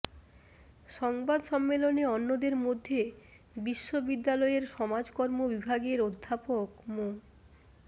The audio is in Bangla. সংবাদ সম্মেলনে অন্যদের মধ্যে বিশ্ববিদ্যালয়ের সমাজকর্ম বিভাগের অধ্যাপক মো